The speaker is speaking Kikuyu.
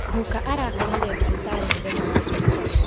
Gũka arakomire thibitari mũthenya wa Jumatatũ